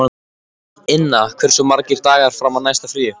Inna, hversu margir dagar fram að næsta fríi?